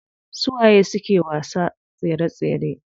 Su waye suke wasa tsere tsere?